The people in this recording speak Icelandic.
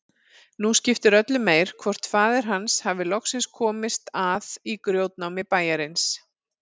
Nú skipti öllu meir hvort faðir hans hafði loksins komist að í grjótnámi bæjarins.